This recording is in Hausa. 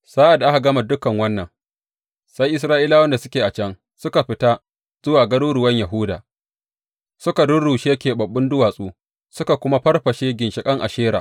Sa’ad da aka gama dukan wannan, sai Isra’ilawan da suke can suka fita zuwa garuruwan Yahuda, suka rurrushe keɓaɓɓun duwatsu suka kuma farfashe ginshiƙan Ashera.